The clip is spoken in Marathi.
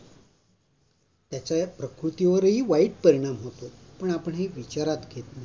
त्याचा प्रकृतीवरही वाईट परिणाम होतो पण आपण हे विचारात घेत नाही.